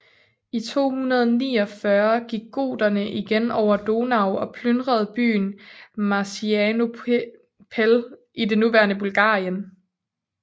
I 249 gik goterne igen over Donau og plyndrede byen Marcianopel i det nuværende Bulgarien